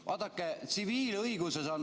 Vaadake, tsiviilõiguses on ...